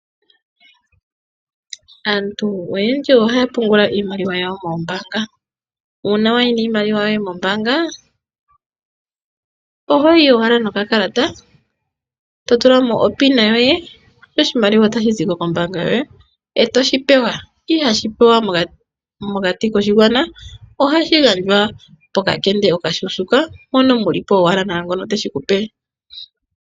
Aantu oyendji ohaya pungula iimaliwa yawo moombaanga. Uuna wayi niimaliwa yoye mombaanga ohoyi owala nokakalata to tulamo opin yoye sho oshimaliwa otashi ziko kombaanga yoye eto shi pewa ,ihoshi pewa mokati koshigwana ohashi gandjwa pokakende okashuushuka mpoka mulipo owala naangono teshi kupe.